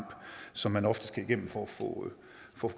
som man ofte skal igennem for at få